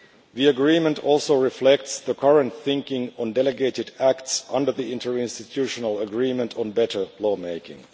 The agreement also reflects the current thinking on delegated acts under the inter institutional agreement on better law making.